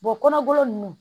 kɔnɔ golo ninnu